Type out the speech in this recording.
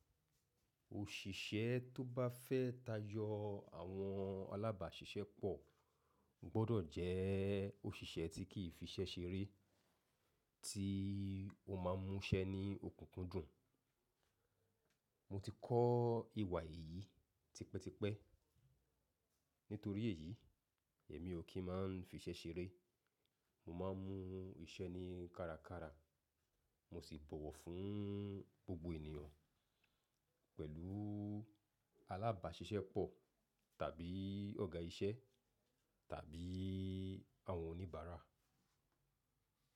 Òṣìṣẹ́ tó bá fẹ́ tajọ àwọn alábàáṣiṣẹ́ pọ̀ gbọ́dọ̀ jẹ́ òṣìṣẹ́ tí kì í fiṣẹ́ ṣeré, tí ó ma ń múṣẹ ní òkúnkúndùn. Mo ti kọ ìwà yìí tipẹ́tipẹ́. Nítorí èyí, èmi ò kí ń máa fiṣẹ́ ṣeré. Mo ma ń mú iṣẹ́ ní kárakára. Mo sì bọ̀wọ̀ fún gbogbo ènìyàn pẹ̀lú alábàáṣiṣẹ́ pọ̀ tàbí ọ̀gá iṣẹ́ tàbí àwọn oníbàárà.